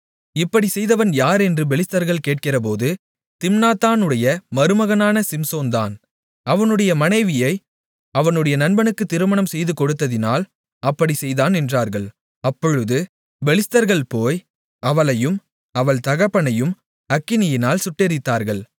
இப்படிச் செய்தவன் யார் என்று பெலிஸ்தர்கள் கேட்கிறபோது திம்னாத்தானுடைய மருமகனான சிம்சோன்தான் அவனுடைய மனைவியை அவனுடைய நண்பனுக்குத் திருமணம் செய்துகொடுத்ததினால் அப்படிச் செய்தான் என்றார்கள் அப்பொழுது பெலிஸ்தர்கள் போய் அவளையும் அவள் தகப்பனையும் அக்கினியால் சுட்டெரித்தார்கள்